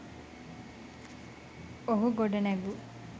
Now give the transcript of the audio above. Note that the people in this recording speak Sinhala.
ඔහු ගොඩනැගු